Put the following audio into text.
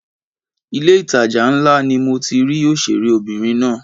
Ilé ìtajà ńlá ni mo ti rí òṣèré obìnrin náà.